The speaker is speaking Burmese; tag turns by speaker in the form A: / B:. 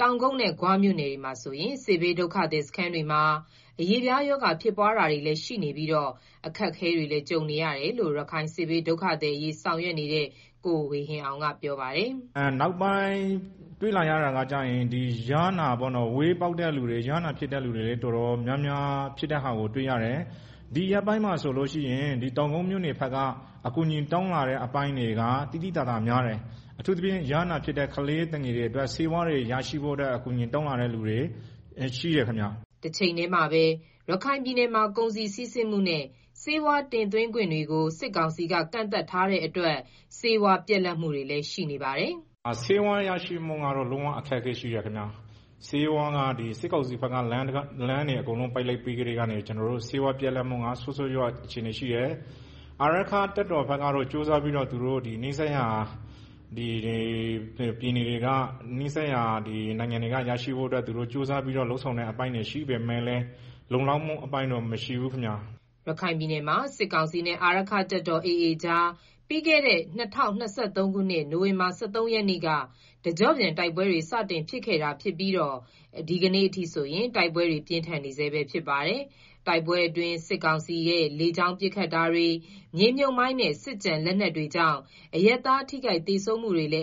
A: တောင်ကုတ်နဲ့ဂွမြို့နယ်တွေက စစ်ဘေး ဒုက္ခသည်စခန်းတွေမှာအရေးအပြားရောဂါြဖစ်နေပြီး အခက်ကြုံနေရတယ်လို့ ရခိုင်စစ်ဘေး ဒုက္ခသည်အရေး ဆောင်ရွက်နေတဲ့ ကိုဝေဟင်အောင် ကပြောပါတယ်
B: ။ “နောက်ပိုင်းတွေ့ရတာကတော့ ဝဲပေါက်တဲ့သူတွေ၊ ယားနာပေါက်တဲ့ သူတွေ တော်တော်များများ တွေ့ရတယ်။ ဒီရက်ပိုင်းမှာဆိုရင် တောင်ကုတ်မြို့နယ်ဘက်က အကူအညီတောင်းလာတာက သိသိသာ သာများတယ်၊ အထူးသဖြင့် ယားနာပေါက်တဲ့ကလေးသူငယ်တွေအတွက် ဆေးဝါးအကူအညီ တောင်းလာသူတွေလည်းများတယ်။”
A: တချိန်တည်းမှာပဲ ရခိုင်ပြည်နယ်မှာ ကုန်စည်စီးဆင်းမှုနဲ့ ဆေဝါးတင်သွင်းခွင့်တွေကို စစ်ကောင်စီက ကန့်သတ်ထားတာကြောင့် ဆေးဝါးတွေ ပြတ်လပ်နေတယ်လို့လည်း ပြောပါတယ်
B: ။ “ဆေးဝါးရရှိမှုကတော့ လုံးဝအခက်အခဲရှိတယ်ခင်ဗျာ၊ စစ်ကောင်စီဘက်က လမ်းတွေအကုန်လုံးကို ပိတ်လိုက်ပြီးကတည်းက ကျနော်တို့မှာ ဆေးဝါးပြတ်လပ်မှုက ဆိုးဆိုးရွားရွား အခြေအနေရှိတယ်၊ အာရက္ခတပ်တော်ဘက်တော့တတ်နိုင်သမျှကြိုးစားပြီးတော့ နီးစပ်ရာပြည်နယ်တွေနဲ့ နိုင်ငံတချို့က ဆေးဝါးရရှိဖို့ ကြိုးစားပြီးတော့ လုပ်ဆောင်တဲ့အပိုင်းတွေရှိပေမယ့်လည်း လုံလောက်မှုအပိုင်းတော့ မရှိဘူးခင်ဗျာ။
A: ” ရခိုင်ပြည်နယ်မှာ စစ်ကောင်စီနဲ့ အာရက္ခတပ်တော် AAကြား ပြီးခဲ့တဲ့ ၂၀၂၃ ခုနှစ် နိုင်ဝင်ဘာလ ၁၃ ရက်နေ့က တကြော့ပြန်တိုက်ပွဲတွေ စတင်ခဲ့တာြဖစ်ပြီး ဒီကနေ့အထိ တိုက်ပွဲတွေပြင်းထန်နေဆဲ ဖြစ်ပါတယ်။ တိုက်ပွဲအတွင်း စစ်ကောင်စီလေကြောင်းပစ်ခတ်တာတွေ မြေမြှုပ်မိုင်းနဲ့ စစ်ကျန် လက်နက်တွေကြောင့် အရပ်သားထိခိုက်သေဆုံးမှုတွေလည်း